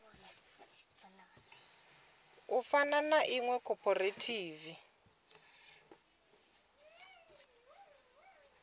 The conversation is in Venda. fana na ḽa iṅwe khophorethivi